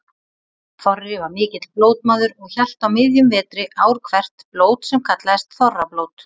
Þorri var mikill blótmaður og hélt á miðjum vetri ár hvert blót sem kallaðist þorrablót.